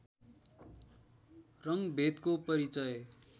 रङ्गभेदको परिचय